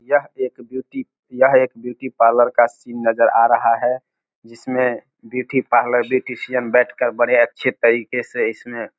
यह एक ब्यूटी यह एक ब्यूटी पार्लर का सीन नजर आ रहा है जिसमे ब्यूटी पार्लर ब्यूटीसियन बैठ कर बड़े अच्छे तरीके से इसने --